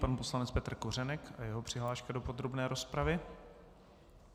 Pan poslanec Petr Kořenek a jeho přihláška do podrobné rozpravy.